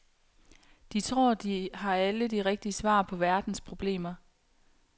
De tror, de har alle de rigtige svar på verdens problemer.